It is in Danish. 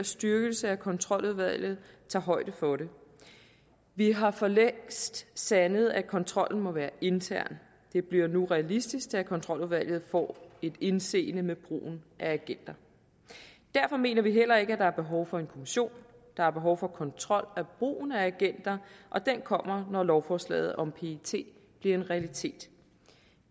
styrkelse af kontroludvalget tager højde for det vi har for længst sandet at kontrollen må være intern det bliver nu realistisk da kontroludvalget får indseende med brugen af agenter derfor mener vi heller ikke at der er behov for en kommission der er behov for kontrol af brugen af agenter og den kommer når lovforslaget om pet bliver en realitet